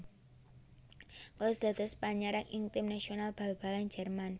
Klose dados panyerang ing tim nasional bal balan Jérman